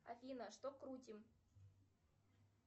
афина что крутим